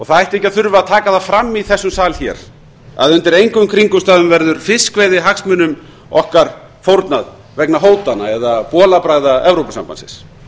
það ætti ekki að þurfa að taka það fram í þessum sal að undir engum kringumstæðum verður fiskveiðihagsmunum okkar fórnað vegna hótana eða bolabragða evrópusambandsins